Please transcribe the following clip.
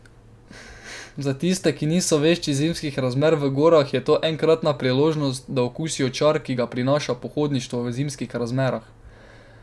Za tiste, ki niso vešči zimskih razmer v gorah, je to enkratna priložnost, da okusijo čar, ki ga prinaša pohodništvo v zimskih razmerah.